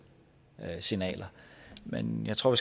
signaler men jeg tror